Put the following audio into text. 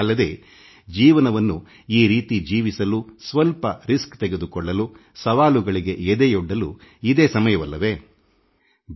ಅಲ್ಲದೇ ಜೀವನವನ್ನು ಈ ರೀತಿ ಜೀವಿಸಲು ಸ್ವಲ್ಪ ರಿಸ್ಕ್ ತೆಗೆದುಕೊಳ್ಳಲು ಸವಾಲುಗಳಿಗೆ ಎದೆಯೊಡ್ಡಲು ಇದು ಸೂಕ್ತ ಸಮಯ ಎಂದಿದ್ದೆ